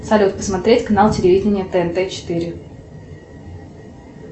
салют посмотреть канал телевидения тнт четыре